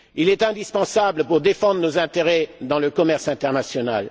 Il est indispensable pour défendre nos intérêts dans le commerce international.